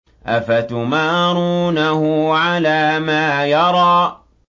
أَفَتُمَارُونَهُ عَلَىٰ مَا يَرَىٰ